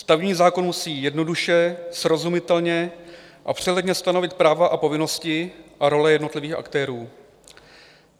Stavební zákon musí jednoduše, srozumitelně a přehledně stanovit práva a povinnosti a role jednotlivých aktérů.